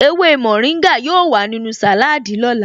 Ewé mórìngà yóò wà nínú sàláádì lọ́la